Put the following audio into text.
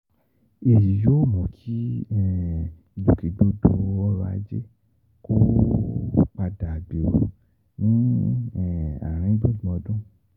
Èyí yóò mú kí ìgbòkègbodò ọ̀rọ̀ ajé um padà gbèrú ní àárín gbùngbùn ọdún.